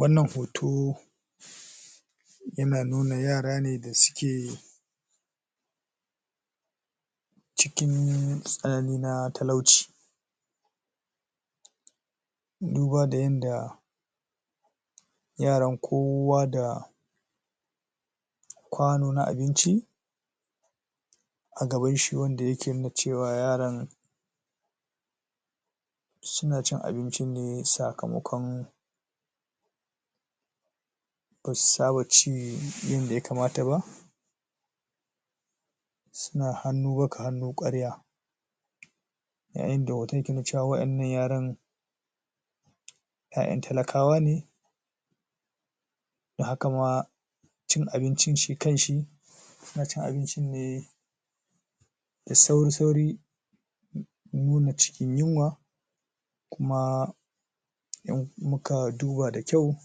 Wannan hoto, um Yana nuna yara ne da suke Cikin tsanani na talauci Duba da yanda Yaran kowa da, Kwano na abinci! A gabanshi wanda yake nuna cewa yaran Suna cin abincin ne sakamakon Basu saba ci ƴanda ya kamata ba Suna hannu baka, hannu kwarya Yayin da hoton ke nuna cewa waƴannan yaran ƴaƴan talakawa ne hakama um Cin abincin shi kanshi Ana cin abincin ne Da sauri sauri nuna cikin yunwa Kuma Muka duba da kyau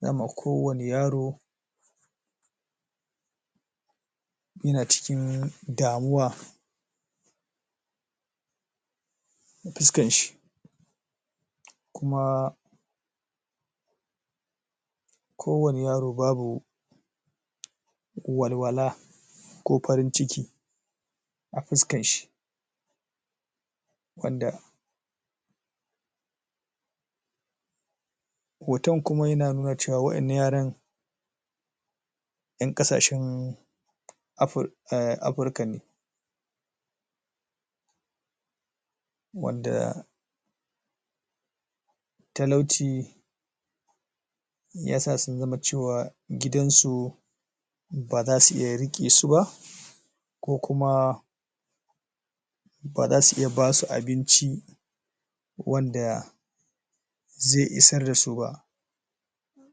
Za muga kowane yaro Yana cikin Damuwa Fuskan shi Kuma Ko wane yaro babu Walwala Ko farin ciki A fuskan shi Wanda hoton kuma yana nuna cewa waƴannan yaran ƴan kasashen afri Um afrika ne Wanda Talauci Yasa sun zama cewa Gidan su Baza su iya riƙe suba Ko kuma Baza su iya basu abinci Wanda Zai isar dasu ba um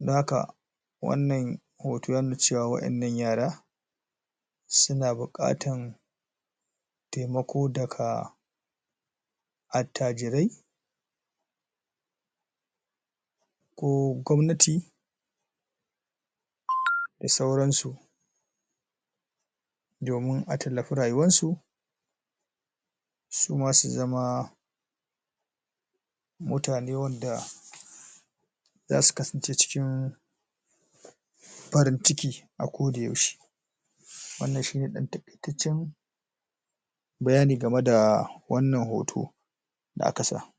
dan haka Wannan hoto Ya nuna cewa waƴannan yara Suna bukatan Taimako daga Attajirai Ko gwamnati Da sauran su Domin a tallafi rayuwan su! Suma su zama Mutane wanda um Zasu kasance cikin farin cikin A koda yaushe Wannan shine ɗan taƙaitaccen Bayani game da Wannan hoto Da aka sa